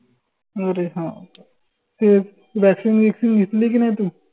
अरे हाओ का ए vaccine गिक्सीन घेतली की नाई तू?